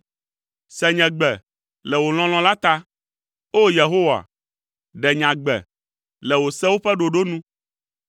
Se nye gbe, le wò lɔlɔ̃ la ta, O! Yehowa, ɖe nye agbe, le wò sewo ƒe ɖoɖo nu.